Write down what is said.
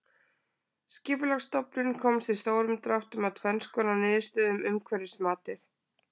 Skipulagsstofnun komst í stórum dráttum að tvenns konar niðurstöðu um umhverfismatið.